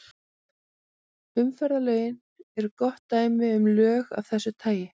Umferðarlögin eru gott dæmi um lög af þessu tagi.